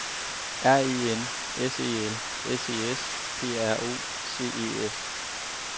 R E N S E L S E S P R O C E S